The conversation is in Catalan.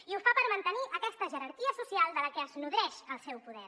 i ho fa per mantenir aquesta jerarquia social de què es nodreix el seu poder